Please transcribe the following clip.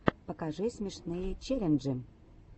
покажи смешные челленджи